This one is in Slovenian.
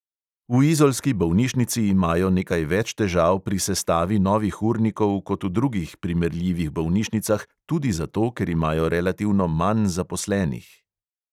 V izolski bolnišnici imajo nekaj več težav pri sestavi novih urnikov kot v drugih primerljivih bolnišnicah tudi zato, ker imajo relativno manj zaposlenih.